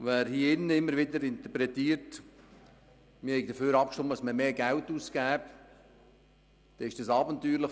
Wenn hier im Grossen Rat immer wieder interpretiert wird, man habe darüber abgestimmt, mehr Geld auszugeben, dann ist das abenteuerlich.